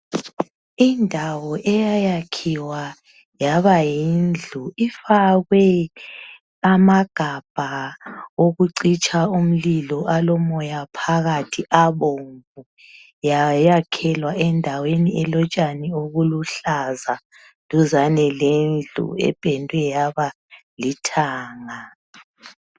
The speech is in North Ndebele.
Indawo eyayakhiwa yabayindlu ifakwe amagabha okucitsha umlilo alomoya phakathi abomvu yayakhelwa endaweni elotshani oluluhlaza duzani lendlu ependwe yaba lithanga